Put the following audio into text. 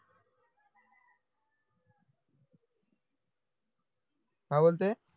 हा बोलते